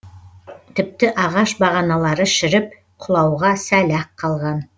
тіпті ағаш бағаналары шіріп құлауға сәл ақ қалған